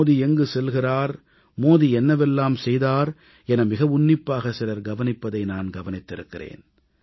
மோடி எங்கு செல்கிறார் மோடி என்னவெல்லாம் செய்தார் என மிக உன்னிப்பாக சிலர் கவனிப்பதை நான் கவனித்திருக்கிறேன்